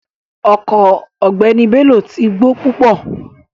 Ọko ogbeni Bello ti gbo pupo